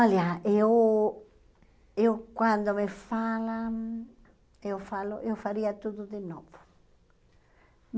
Olha, eu eu quando me falam, eu falo, eu faria tudo de novo.